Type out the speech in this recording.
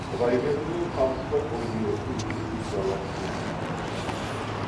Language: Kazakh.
құдайберді мен қамысбай бұл бұйрықты ести сала тебіне жөнелісті